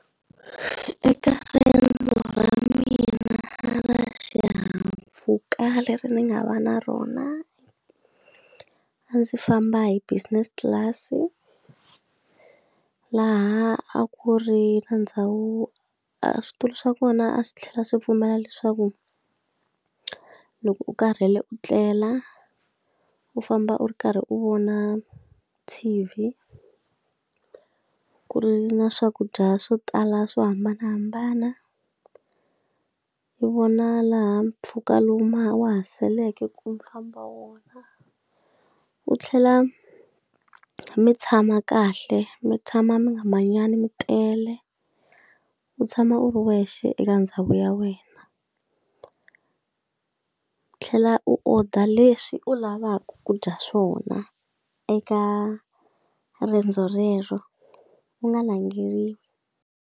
Eka riendzo ra mina ra xihahampfhuka leri ni nga va na rona, a ndzi famba hi business class-i. Laha a ku ri na ndhawu a switulu swa kona a swi tlhela swi pfumela leswaku loko u karhele u tlela, u famba u ri karhi u vona T_V, ku ri na swakudya swo tala swo hambanahambana, u vona laha mpfhuka lowu ha wa saleke ku mi famba wona. U tlhela mi tshama kahle, mi tshama mi nga manyani mi tele, u tshama u ri wexe eka ndhawu ya wena. U tlhela u order leswi u lavaka ku dya swona eka riendzo rero, u nga langheriwi.